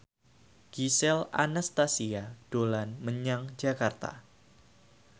Gisel Anastasia dolan menyang Jakarta